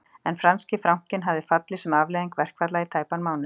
En franski frankinn hafði fallið sem afleiðing verkfalla í tæpan mánuð